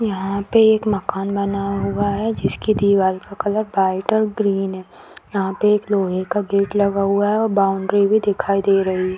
यहाँ पे एक मकान बना हुआ है जिसकी दीवाल का कलर वाइट और ग्रीन है यहाँ पे एक लोहे का गेट लगा हुआ है और बॉउंड्री भी दिखाई दे रही --